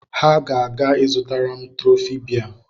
Ha ga-aga ịzụtara m trọfị bea